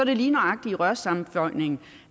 det lige nøjagtig i rørsammenføjninger